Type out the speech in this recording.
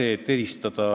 Tahan samuti temale viidata.